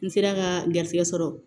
N sera ka garisɛgɛ sɔrɔ